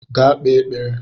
Gaa kpee ekpere!